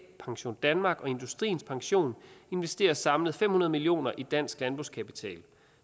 pensiondanmark og industriens pension investerer samlet fem hundrede million kroner i dansk landbrugskapital